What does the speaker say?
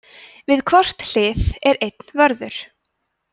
við hvort hlið er einn vörður